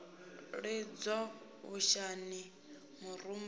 lidzwa vhushani murumba u no